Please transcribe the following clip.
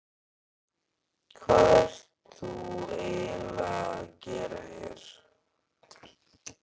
Hvað ert þú eiginlega að gera hér?